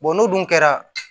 n'o dun kɛra